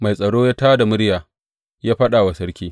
Mai tsaro ya tā da murya ya faɗa wa sarki.